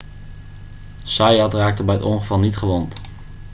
zayat raakte bij het ongeval niet gewond